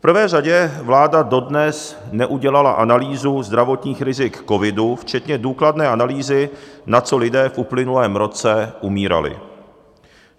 V prvé řadě vláda dodnes neudělala analýzu zdravotních rizik covidu včetně důkladné analýzy, na co lidé v uplynulém roce umírali.